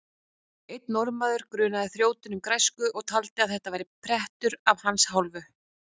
Einn norðanmaður grunaði þrjótinn um græsku og taldi að þetta væri prettur af hans hálfu.